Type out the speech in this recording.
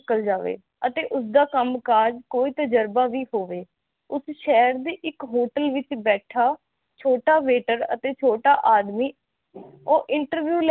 ਅਤੇ ਉਸਦਾ ਕੰਮ ਕਾਜ਼ ਕੋਈ ਤਜ਼ਰਬਾ ਵੀ ਹੋਵੇ ਉਸ ਸ਼ਹਿਰ ਦੇ ਇਕ ਹੋਟਲ ਵਿਚ ਬੈਠਾ ਛੋਟਾ ਵੇਟਰ ਅਤੇ ਛੋਟਾ ਆਦਮੀ ਉਹ ਇੰਟਰਵਿਊ ਲੈਣ ਗਿਆ